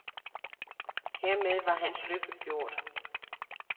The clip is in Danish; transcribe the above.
Hermed var hans lykke gjort.